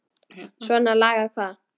Svona lagað hvað?